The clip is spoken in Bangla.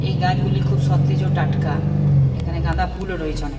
এই গাছগুলি খুব সতেজ ও টাটকা এখানে গাঁদা ফুলো ও রয়েছে অনেক।